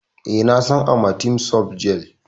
E, na san Amatem soft gel.